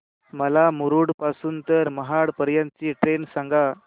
मला मुरुड पासून तर महाड पर्यंत ची ट्रेन सांगा